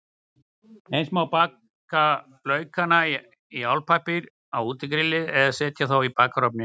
Eins má baka laukana í álpappír á útigrilli eða setja þá í bakarofninn.